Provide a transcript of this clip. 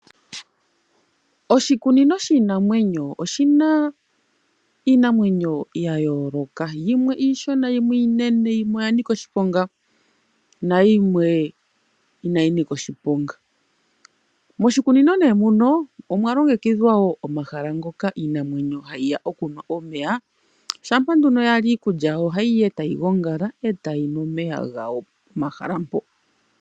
Oshikunino shiinamwenyo oshina iinamwenyo ya yooloka. Yimwe iishona, yimwe iinene, yimwe oya nika oshiponga nayimwe inayi nika oshiponga. Moshikunino nee muno omwa longekidhwa wo omahala ngoka iinamwenyo hayi ya okunwa omeya. Shampa nduno yali iikulya yawo ohayi ya etayi gongala etayi nu omeya gawo momahala mpo.